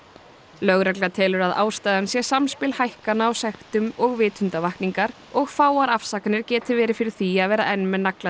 lögregla telur að ástæðan sé samspil hækkana á sektum og vitundarvakningar og fáar afsakanir geti verið fyrir því að vera enn með nagladekk